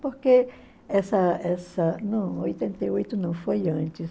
Porque essa essa... Não, oitenta e oito não, foi antes.